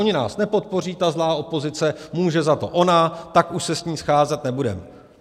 Oni nás nepodpoří, ta zlá opozice, může za to ona, tak už se s ní scházet nebudeme.